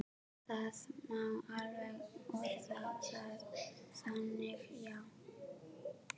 Það má alveg orða það þannig, já.